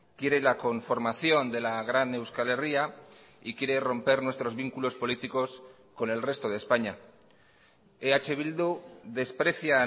quiere la conformación de la gran euskal herria y quiere romper nuestros vínculos políticos con el resto de españa eh bildu desprecia